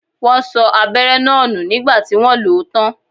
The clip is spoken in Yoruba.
Wọn sọ abẹ́rẹ́ náà nù nígbà tí wọ́n lo ó tán